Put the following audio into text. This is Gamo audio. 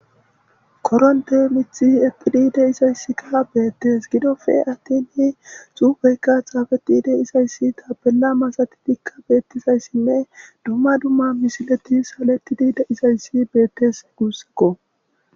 Koronte miththi eqqidi dizaykka beettes. Gidoppe attin xuufeykka xaafeti de'izays taapella masatidikka beettizays dumma dumma misileti suletidi de'izays beettes guussikko.